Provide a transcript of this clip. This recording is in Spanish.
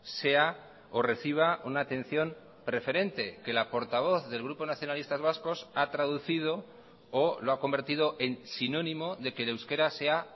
sea o reciba una atención preferente que la portavoz del grupo nacionalistas vascos ha traducido o lo ha convertido en sinónimo de que el euskera sea